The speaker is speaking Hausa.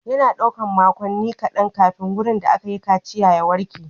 Yana ɗaukar makonni kaɗan kafin wurin da aka kaciya ya warke.